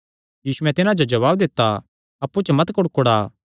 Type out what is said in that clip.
यीशुयैं तिन्हां जो जवाब दित्ता अप्पु च मत कुड़कुड़ा